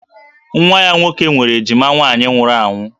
Nwa ya nwoke nwere ejima nwaanyị nwụrụ anwụ